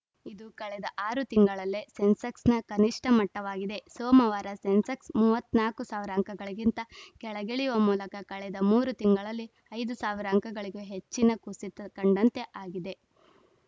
ಇದು ಕಳೆದ ಆರು ತಿಂಗಳಲ್ಲೇ ಸೆನ್ಸೆಕ್ಸ್‌ನ ಕನಿಷ್ಠ ಮಟ್ಟವಾಗಿದೆ ಸೋಮವಾರ ಸೆನ್ಸೆಕ್ಸ್‌ ಮೂವತ್ತ್ ನಾಲ್ಕ್ ಸಾವಿರ ಅಂಕಗಳಿಗಿಂತ ಕೆಳಗಿಳಿಯುವ ಮೂಲಕ ಕಳೆದ ಮೂರು ತಿಂಗಳಲ್ಲಿ ಐದ್ ಸಾವಿರ ಅಂಕಗಳಿಗೂ ಹೆಚ್ಚಿನ ಕುಸಿತ ಕಂಡಂತೆ ಆಗಿದೆ